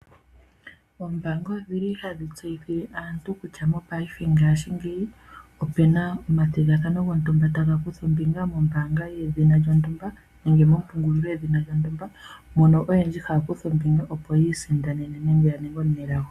Ombaanga odhili hadhi tseyithile aantu kutya mopayife ngashingeyi opena omathigathano mombaanga yedhina lyontumba nenge mompungulilo yombaanga yedhina lyontumba mono oyendji haya kutha ombinga opo yi isindanene nenge ya ninge aanelago.